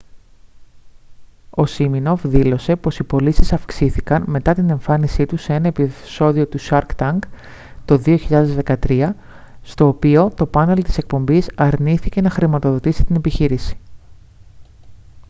ο σίμινοφ δήλωσε πως οι πωλήσεις αυξήθηκαν μετά την εμφάνισή του σε ένα επεισόδιο του shark tank το 2013 στο οποίο το πάνελ της εκπομπής αρνήθηκε να χρηματοδοτήσει την επιχείρηση